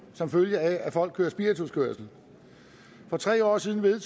som følge af at folk kører spirituskørsel for tre år siden blev det